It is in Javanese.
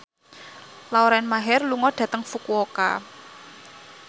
Lauren Maher lunga dhateng Fukuoka